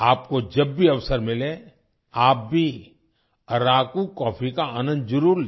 आपको जब भी अवसर मिले आप भी अराकू कॉफी का आनंद जरूर लें